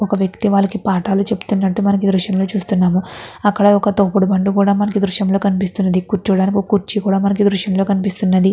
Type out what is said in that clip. ఒక వ్యక్తి వాళ్ళకి పాటాలు చెప్తున్నట్టు మనం ఈ దృశ్యం లో చూస్తున్నాము. అక్కడ మనకి ఒక తోపుడు బండి కూడా మనకి ఈ దృశ్యం లో కనిపిస్తున్నది. కూర్చోడానికి ఒక కుర్చీ కూడా మనకి ఈ దృశ్యం లో కనిపిస్తున్నది.